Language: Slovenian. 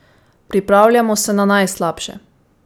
Pripravljamo se na najslabše.